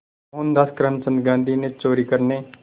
मोहनदास करमचंद गांधी ने चोरी करने